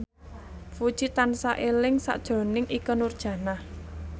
Puji tansah eling sakjroning Ikke Nurjanah